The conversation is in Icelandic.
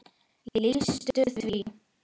lýstu því?